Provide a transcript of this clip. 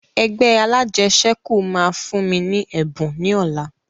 Ẹgbẹ́ alajẹsẹ́kù máa fún mi ní ẹ̀bùn ni ọ̀la